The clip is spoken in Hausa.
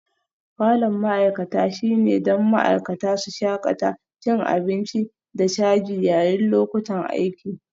Falon ma'aikata shine don ma'aikata su shakata cin abinci da caji yayin lokutan aiki